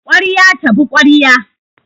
Kwarya tabi kwarya